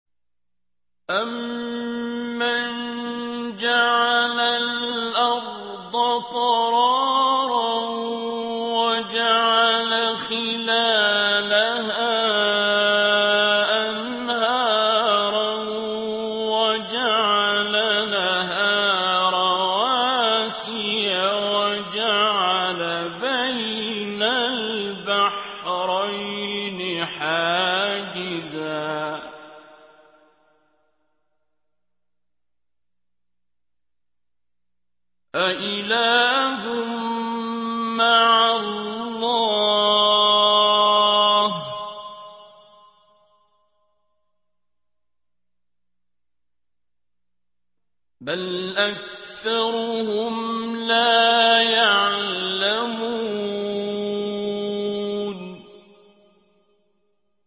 أَمَّن جَعَلَ الْأَرْضَ قَرَارًا وَجَعَلَ خِلَالَهَا أَنْهَارًا وَجَعَلَ لَهَا رَوَاسِيَ وَجَعَلَ بَيْنَ الْبَحْرَيْنِ حَاجِزًا ۗ أَإِلَٰهٌ مَّعَ اللَّهِ ۚ بَلْ أَكْثَرُهُمْ لَا يَعْلَمُونَ